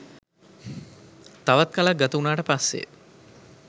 තවත් කලක් ගත උනාට පස්සේ.